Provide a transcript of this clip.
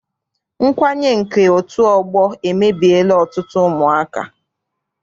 Nkwanye nke otu ọgbọ emebiela ọtụtụ ụmụaka.